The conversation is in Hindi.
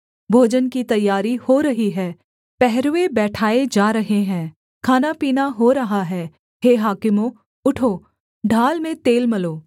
भोजन की तैयारी हो रही है पहरूए बैठाए जा रहे हैं खानापीना हो रहा है हे हाकिमों उठो ढाल में तेल मलो